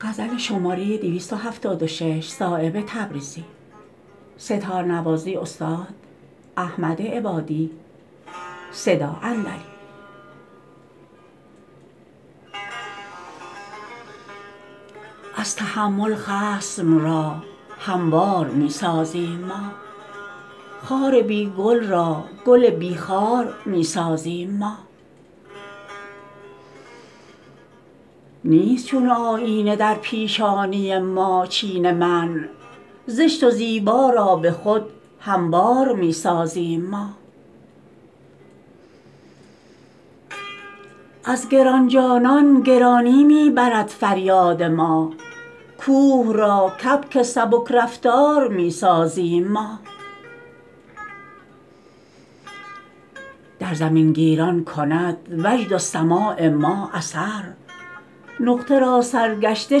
از تحمل خصم را هموار می سازیم ما خار بی گل را گل بی خار می سازیم ما نیست چون آیینه در پیشانی ما چین منع زشت و زیبا را به خود هموار می سازیم ما از گرانجانان گرانی می برد فریاد ما کوه را کبک سبکرفتار می سازیم ما در زمین گیران کند وجد و سماع ما اثر نقطه را سرگشته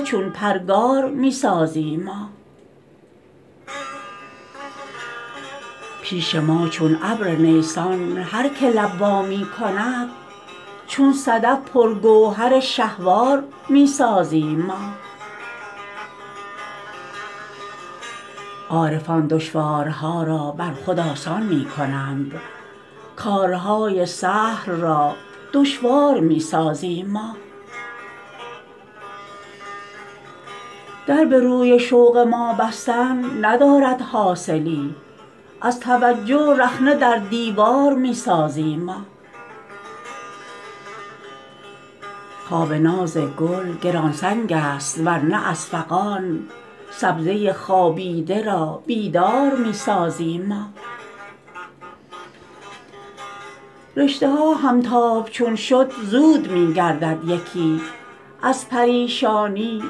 چون پرگار می سازیم ما پیش ما چون ابر نیسان هر که لب وا می کند چون صدف پر گوهر شهوار می سازیم ما عارفان دشوارها را بر خود آسان می کنند کارهای سهل را دشوار می سازیم ما در به روی شوق ما بستن ندارد حاصلی از توجه رخنه در دیوار می سازیم ما خواب ناز گل گرانسنگ است ورنه از فغان سبزه خوابیده را بیدار می سازیم ما رشته ها همتاب چون شد زود می گردد یکی از پریشانی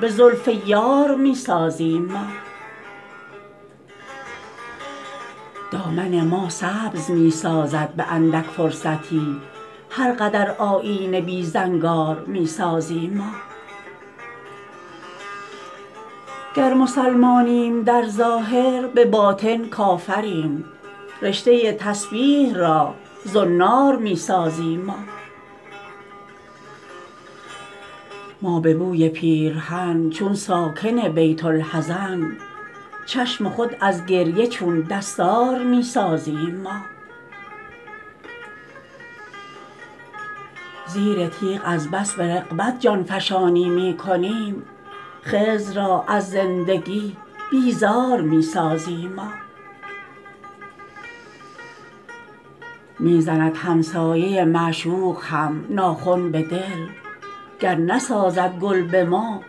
به زلف یار می سازیم ما دامن ما سبز می سازد به اندک فرصتی هر قدر آیینه بی زنگار می سازیم ما گر مسلمانیم در ظاهر به باطن کافریم رشته تسبیح را زنار می سازیم ما ما به بوی پیرهن چون ساکن بین الحزن چشم خود از گریه چون دستار می سازیم ما زیر تیغ از بس به رغبت جانفشانی می کنیم خضر را از زندگی بیزار می سازیم ما می زند همسایه معشوق هم ناخن به دل گر نسازد گل به ما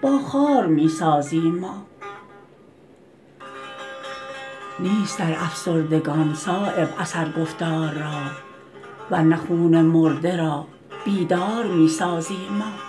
با خار می سازیم ما نیست در افسردگان صایب اثر گفتار را ورنه خون مرده را بیدار می سازیم ما